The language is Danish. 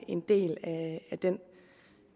en del af den